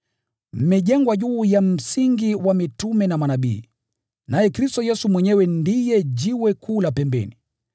Mmejengwa juu ya msingi wa mitume na manabii, naye Kristo Yesu mwenyewe ndiye jiwe kuu la pembeni.